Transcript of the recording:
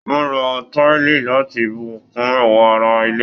Wọn lò táìlì láti bù kún ẹwà àrà ilé.